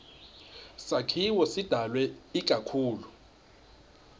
sakhiwo sidalwe ikakhulu